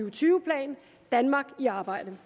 og tyve plan danmark i arbejde